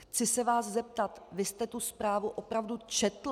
Chci se vás zeptat, vy jste tu zprávu opravdu četl?